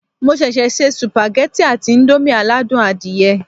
Mo ṣẹ̀ṣẹ̀ se sùpàgẹ́tì àti íńdómì aládùn adìyẹ